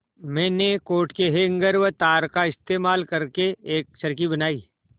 मैंने कोट के हैंगर व तार का इस्तेमाल करके एक चरखी बनाई